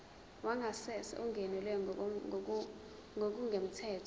wangasese ungenelwe ngokungemthetho